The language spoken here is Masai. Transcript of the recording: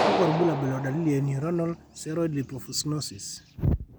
kakwa irbulabol o dalili e Neuronal ceroid lipofuscinosis?